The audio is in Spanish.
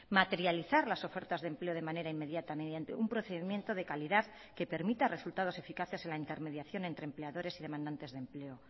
materializar las ofertas de empleo de manera inmediata mediante un procedimiento de calidad que permita resultados eficaces en la intermediación entre empleadores y demandantes de empleo